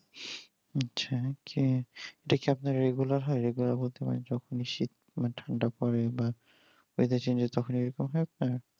আচ্ছা কি এটা কি আপনার regular হয় regular বলতে মানে যখনই শীত ঠান্ডা পড়ে পরে বা weather change হয় তখন এরকম হয় আপনার